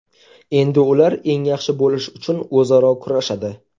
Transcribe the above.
Endi ular eng yaxshi bo‘lish uchun o‘zaro kurashadi.